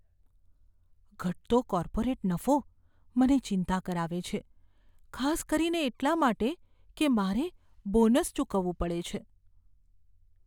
ઘટતો કોર્પોરેટ નફો મને ચિંતા કરાવે છે, ખાસ કરીને એટલાં માટે કે મારે બોનસ ચૂકવવું પડે છે.